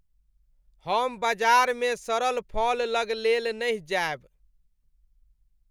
हम बाजार मे सड़ल फल लग लेल नहि जायब।